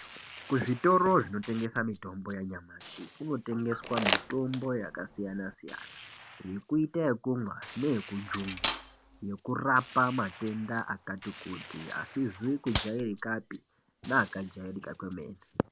Kuzvitoro zvinotengesa mitombo yanyamashi kunotengeswa mitombo yakasiyana-siyana yekuita ekumwa neyekujungwa, yekurapa matenda akati kuti asizi kujairika pi neaka kujairika kwemene.